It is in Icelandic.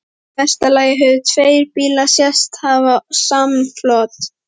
Í mesta lagi höfðu tveir bílar sést hafa samflot.